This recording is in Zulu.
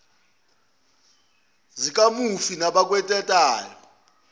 nezindlalifa zikamufi nabakweletwayo